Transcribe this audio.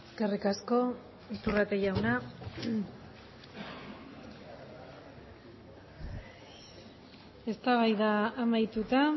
eskerrik asko iturrate jauna eztabaida amaituta